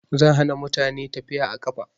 Zan hana mutane tafiya a ƙafa